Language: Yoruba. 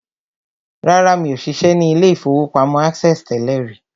Rárá, mi ò ṣiṣẹ́ ní ilé-ìfowópamọ́ access tẹ́lẹ̀ rí